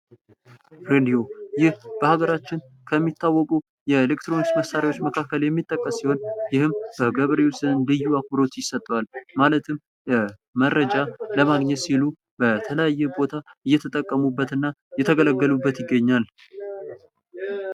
ሬዲዮ። ይህ በሀገራችን ከሚታወቁ የኤሌክትሮኒክስ መሳሪያዎች መካከል የሚጠቀስ ሲሆን ይህም ከገበሬዎች ዘንድ ልዩ አክብሮት ይሰጠዋል። ማለትም መረጃ ለማግኘት ሲሉ በተለያየ ቦታ እየተጠቀሙበት እና እየተገለገሉበት ይገኛል።